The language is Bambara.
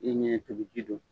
E min ye sogo ji don.